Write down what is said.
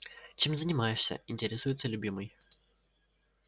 чем занимаешься интересуется любимый